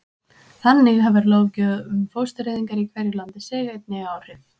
þannig hefur löggjöf um fóstureyðingar í hverju landi einnig áhrif